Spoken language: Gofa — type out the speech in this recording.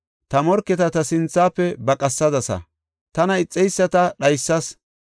Ta morketa ta sinthafe baqatisadasa; tana ixeyisata dhaysas.